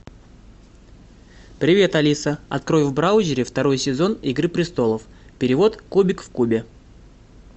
привет алиса открой в браузере второй сезон игры престолов перевод кубик в кубе